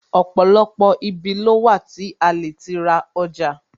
Ọ̀pọ̀lọpọ̀ ibi ló wà tí a lè ti ra ọjà